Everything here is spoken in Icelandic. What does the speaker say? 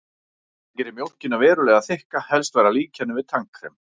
Það gerir mjólkina verulega þykka, helst væri hægt að líkja henni við tannkrem.